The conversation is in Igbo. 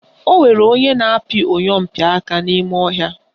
Onwere onye na-apị oyompịaka n'ime ọhịa